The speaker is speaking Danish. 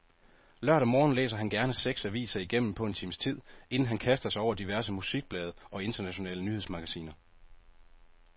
Lørdag morgen læser han gerne seks aviser igennem på en times tid, inden han kaster sig over diverse musikblade og internationale nyhedsmagasiner.